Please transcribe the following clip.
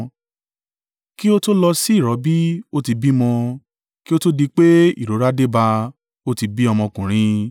“Kí ó tó lọ sí ìrọbí, ó ti bímọ; kí ó tó di pé ìrora dé bá a, ó ti bí ọmọkùnrin.